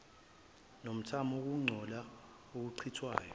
nomthamo wokungcola okuchithwayo